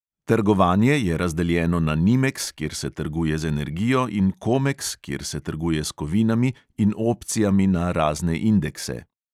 Trgovanje je razdeljeno na nimeks, kjer se trguje z energijo, in komeks, kjer se trguje s kovinami in opcijami na razne indekse.